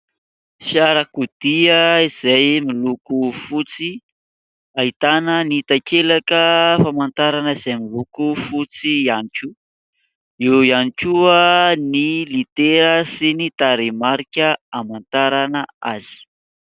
Fiarakodia izay miloko fotsy ahitana ny takelaka famantarana, izay miloko fotsy ihany koa ; eo ihany koa ny litera sy ny tarehimarika hamantarana azy.